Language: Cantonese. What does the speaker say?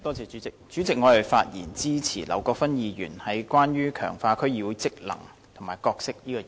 主席，我發言支持劉國勳議員有關強化區議會職能和角色的議案。